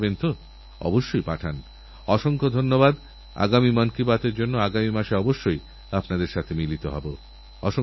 ভারতের জন্য যাঁরা জীবন উৎসর্গ করেছেন সেইসব মহাপুরুষদের স্মরণকরি এবং দেশের জন্য কিছু করার সংকল্প নিয়ে এগিয়ে যাই অনেক অনেক শুভেচ্ছা